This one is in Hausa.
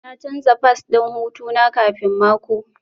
Na canza fass ɗin hutu na kafin mako